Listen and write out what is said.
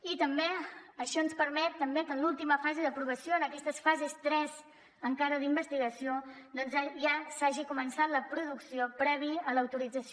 i això ens permet també que en l’última fase d’aprovació en aquesta fase tres encara d’investigació doncs ja s’hagi començat la producció prèvia a l’autorització